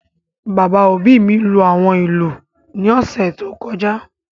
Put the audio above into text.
Bàbá òbí mi lú àwọn ìlú ní ọ̀sẹ̀ tó kọjá